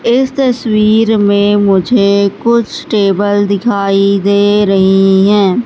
इस तस्वीर में मुझे कुछ टेबल दिखाई दे रही है।